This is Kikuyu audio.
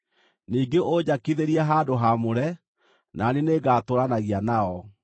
“Ningĩ ũnjakithĩrie handũ haamũre, na niĩ nĩngatũũranagia nao.